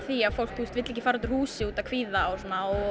því að fólk vill ekki fara út úr húsi útaf kvíða og